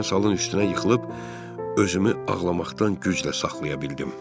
Mən salın üstünə yıxılıb özümü ağlamaqdan güclə saxlaya bildim.